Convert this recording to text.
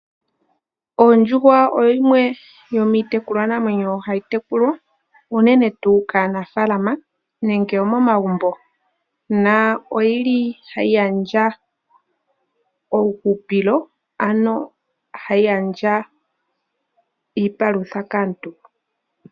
Ondjuhwa oyo yimwe yomiitekulwanamwenyo hayi tekulwa, unene tuu kanaafaalama nenge omomagumbo. Ohayi gandja uuhupilo, ano hayi gandja iipalutha kaantu.